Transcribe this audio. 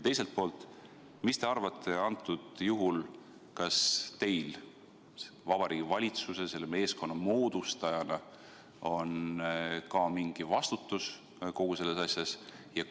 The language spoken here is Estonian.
Teiselt poolt, mis te arvate, kas teil Vabariigi Valitsuse, selle meeskonna moodustajana on ka mingi vastutus kogu selles asjas?